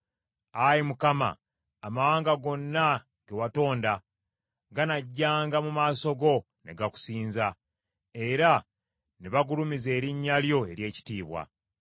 Ayi Mukama amawanga gonna ge watonda ganajjanga mu maaso go ne gakusinza; era ne bagulumiza erinnya lyo ery’ekitiibwa.